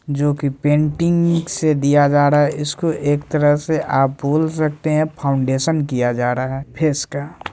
जो कि पेंटिंग से दिया जा रहा है इसको एक तरह से आप बोल सकते है फाउंडेशन किया जा रहा है फेस का।